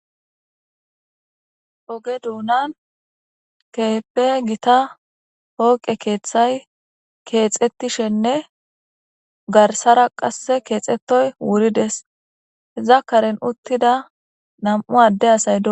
Oge dunan keehippe Gita pooqe keethay kethetishenne garsara qase kexetoys wurides , iza karen utida 2 adde asay dosona